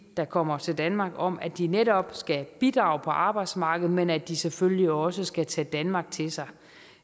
der kommer til danmark om at de netop skal bidrage på arbejdsmarkedet men at de selvfølgelig også skal tage danmark til sig